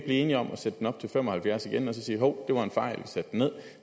enige om at sætte den op til fem og halvfjerds procent igen og sige hov det var en fejl vi satte den ned